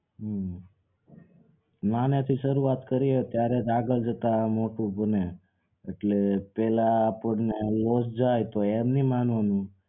હમ નાંનાં થી શરૂઆત કરીએ ત્યારે જ આપડા જે કામ મોટું ભુને એટલે પહેલા અપણને loss જાય તો એમ નહીં માનો